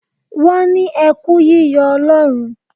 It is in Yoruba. Wọ́n ní ẹ kú yíyọ Ọlọ́run.